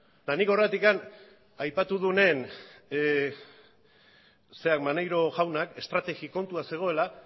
eta nik horregatik aipatu nuenean maneiro jaunak estrategi kontua zegoela